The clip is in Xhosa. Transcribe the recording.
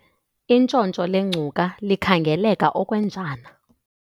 intshontsho lengcuka likhangeleka okwenjana